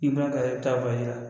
I b'a kari i bɛ taa bɔ a ji la